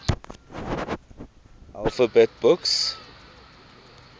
alphabet books